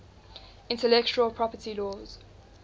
intellectual property laws